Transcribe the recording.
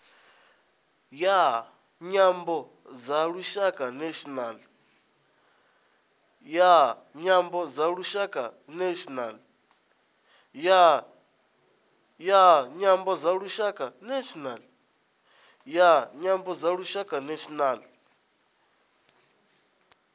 ya nyambo dza lushaka national